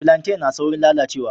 Filantai na saurin lalacewa